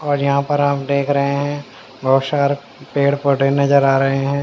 यहाँ पर आप देख रहे हैं बहुत सारे पेड़ पौधे नजर आ रहे हैं।